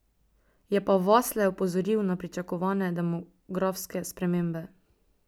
Je pa Vasle opozoril na pričakovane demografske spremembe.